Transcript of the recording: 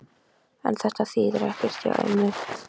En þetta þýðir ekkert hjá ömmu.